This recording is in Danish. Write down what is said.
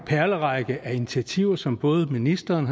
perlerække af initiativer som både ministeren